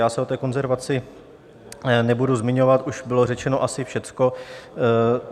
Já se o té konzervaci nebudu zmiňovat, už bylo řečeno asi všechno.